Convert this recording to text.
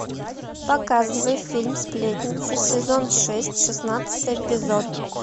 показывай фильм сплетница сезон шесть шестнадцатый эпизод